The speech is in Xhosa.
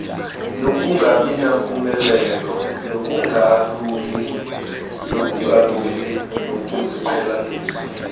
nokungabinampumelelo nokungalungi kokuziqhelanisa